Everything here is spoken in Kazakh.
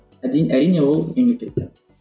әрине ол мемлекет